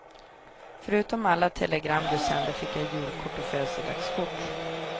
Förutom alla telegram du sände, fick jag julkort och födelsedagskort.